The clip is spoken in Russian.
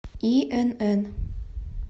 инн